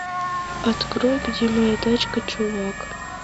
открой где моя тачка чувак